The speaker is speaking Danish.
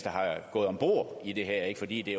gået om bord i det her fordi det